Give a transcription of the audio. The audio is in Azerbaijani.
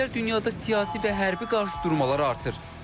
Son illər dünyada siyasi və hərbi qarşıdurmalar artır.